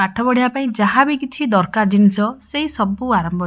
ପାଠ ପଢିବା ପାଇଁ ଯାହା ବି କିଛି ଦରକାର ଜିନିଷ ସେଇସବୁ ଆରମ୍ଭରେ--